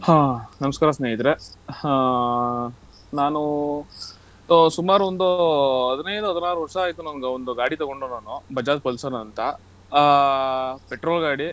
ಹಾ ನಮಸ್ಕಾರ ಸ್ನೇಹಿತ್ರೆ ಹಾ ನಾನು ಆಹ್ ಸುಮಾರು ಒಂದು ಹದಿನೈದು ಹದ್ನಾರು ವರ್ಷ ಆಯ್ತು ನಂದು ಒಂದು ಗಾಡಿ ತಗೊಂಡು ನಾನು Bajaj Pulsar ಅಂತ ಆಹ್ petrol ಗಾಡಿ.